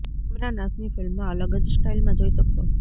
ઈમરાન હાશ્મી ફિલ્મમાં અલગ જ સ્ટાઇલમાં જોઈ શકશો